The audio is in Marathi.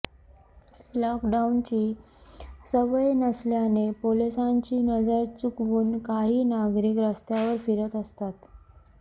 लॉकडाऊनची सवय नसल्याने पोलिसांची नजर चुकवून काही नागरिक रस्त्यावर फिरत असतात